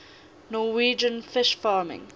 norwegian fish farming